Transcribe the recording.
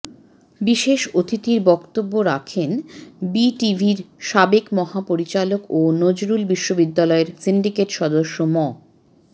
বিশেষ অতিথির বক্তব্য রাখেন বিটিভির সাবেক মহা পরিচালক ও নজরুল বিশ্ববিদ্যালয় সিন্ডিকেট সদস্য ম